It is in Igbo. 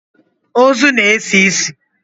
Ozu na-esi isi.